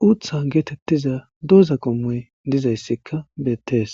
tuutha geetettiza dooza qommoy dizayssikka beettees